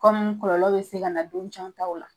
kɔlɔlɔ be se ka na don caman taw la.